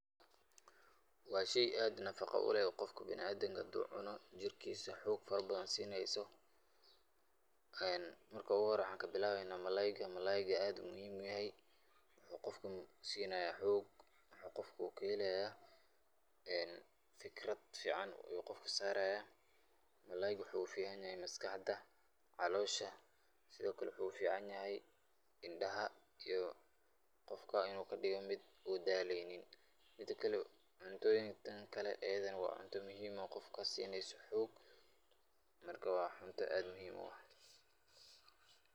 Waa shay aad nafaqa u leh oo qof biniadamka hadu cuno jirkiisa xog fara badan siineyso marka ogu hora waxaan kabilaweyna malalayga, malalayga aad ayu muhiim u yahay qofka maxuu siinaya xog qofka u kahelaya fikrad fican u qofka saaraya malalayga waxuu u fican yahay maskaxda calosha sidokale waxu u ficnayahy indhaha iyo qofka inu kadiga mid u daaleynin midakale cuntooyinkan kale ayadana waa cunto muuhiim u ah qofka sineyso xog marka waa cunta aad muhiim u ah.